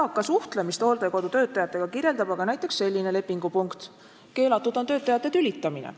Eaka inimese suhtlemist hooldekodu töötajatega kirjeldab aga näiteks selline lepingupunkt: "Keelatud on töötajate tülitamine.